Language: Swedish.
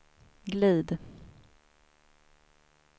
glid